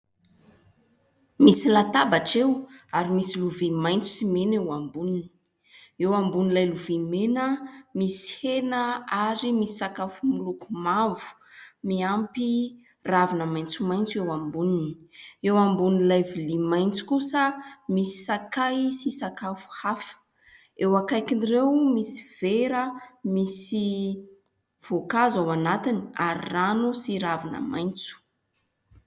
Misy latabatra eo, ary misy lovia maitso sy mena eo amboniny. Eo ambonin'ilay lovia mena misy hena ary misy sakafo miloko mavo miampy ravina maitsomaitso eo amboniny. Eo ambonin'ilay vilia maitso kosa misy sakay sy sakafo hafa. Eo akaikin'ireo misy vera misy voankazo ao anatiny, ary rano sy ravina maitso.